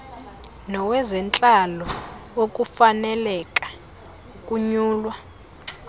nowezentlalo wokufaneleka ukunyulwa